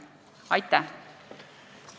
Aitäh!